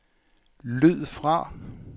lyd fra